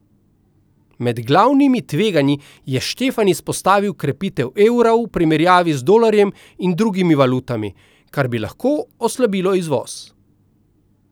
Med glavnimi tveganji je Štefan izpostavil krepitev evra v primerjavi z dolarjem in drugimi valutami, kar bi lahko oslabilo izvoz.